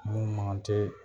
Mun man kan tɛ